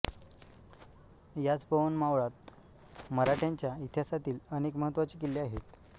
याच पवन मावळात मराठ्यांच्या इतिहासातील अनेक महत्त्वाचे किल्ले आहेत